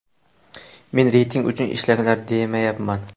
Men reyting uchun ishlanglar, demayapman.